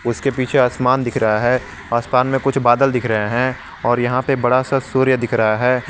उसके पीछे आसमान दिख रहा है आसमान में कुछ बदल दिख रहे हैं और यहां पर बड़ा सा सूर्य दिख रहा है।